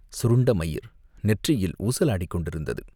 சுருண்ட மயிர் நெற்றியில் ஊசலாடிக் கொண்டிருந்தது.